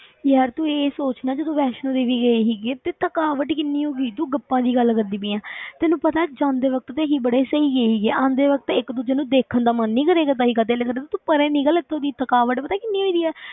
ਯਾਰ ਤੂੰ ਇਹ ਸੋਚ ਨਾ ਜਦੋਂ ਵੈਸ਼ਨੋ ਦੇਵੀ ਗਈ ਸੀਗੇ ਤੇ ਥਕਾਵਟ ਕਿੰਨੀ ਹੋ ਗਈ ਸੀ, ਤੂੰ ਗੱਪਾਂ ਦੀ ਗੱਲ ਕਰਦੀ ਪਈ ਆਂ ਤੈਨੂੰ ਪਤਾ ਹੈ ਜਾਂਦੇ ਵਕਤ ਤੇ ਅਸੀਂ ਬੜੇ ਸਹੀ ਗਏ ਸੀਗੇ, ਆਉਂਦੇ ਵਕਤ ਇੱਕ ਦੂਜੇ ਨੂੰ ਦੇਖਣ ਦਾ ਮਨ ਨੀ ਕਰਿਆ ਕਰਦਾ ਸੀਗਾ, ਦਿਲ ਕਰਦਾ ਤੂੰ ਪਰੇ ਨਿੱਕਲ ਇੱਥੋਂ ਦੀ ਥਕਾਵਟ ਪਤਾ ਕਿੰਨੀ ਹੋਏ ਦੀ ਹੈ,